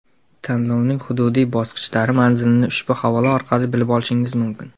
Tanlovning hududiy bosqichlari manzilini ushbu havola orqali bilib olishingiz mumkin.